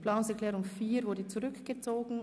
Die Planungserklärung 4 wurde zurückgezogen.